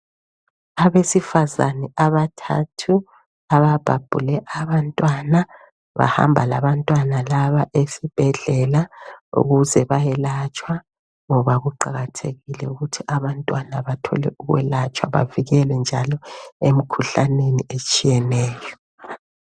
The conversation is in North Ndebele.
Abesifazane abathathu ababhabhule abantwana .Bahamba labantwana laba esibhedlela ukuze bayelatshwa. Ngoba kuqakathekile ukuthi abantwana bathole ukwelatshwa bevikelwe njalo emkhuhlaneni etshiyeneyo.